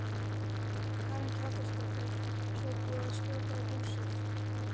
Karen Kjartansdóttir: Svo er búið að skjóta á húsið?